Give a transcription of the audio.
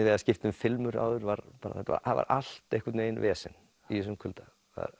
við að skipta um filmur áður það var allt einhvern veginn vesen í þessum kulda